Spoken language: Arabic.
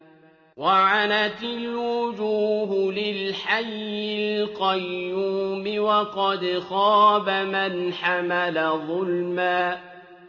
۞ وَعَنَتِ الْوُجُوهُ لِلْحَيِّ الْقَيُّومِ ۖ وَقَدْ خَابَ مَنْ حَمَلَ ظُلْمًا